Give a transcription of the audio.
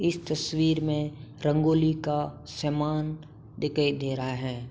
इस तस्वीर में रंगोली का समान दिखाई दे रहा हैं।